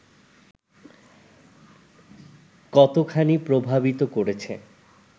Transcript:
কতোখানি প্রভাবিত করেছে